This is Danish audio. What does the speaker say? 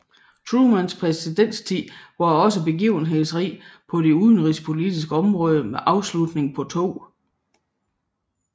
Trumans præsidenttid var også begivenhedsrig på det udenrigspolitiske område med afslutningen på 2